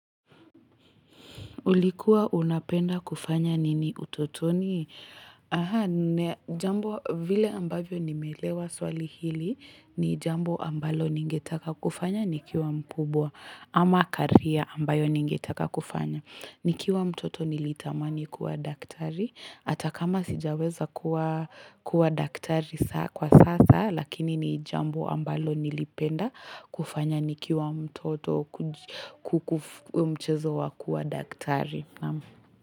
Ulikuwa unapenda kufanya nini utotoni? Jambo vile ambavyo nimeelewa swali hili ni jambo ambalo ningetaka kufanya nikiwa mkubwa ama career ambayo ningetaka kufanya. Nikiwa mtoto nilitamani kuwa daktari, hata kama sijaweza kuwa daktari kwa sasa, lakini ni jambo ambalo nilipenda kufanya nikiwa mtoto kukumchezo wa kuwa daktari.